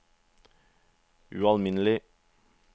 ualminnelig